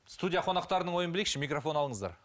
студия қонақтарының ойын білейікші микрофон алыңыздар